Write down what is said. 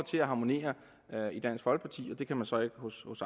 til at harmonere i dansk folkeparti og det kan man så ikke hos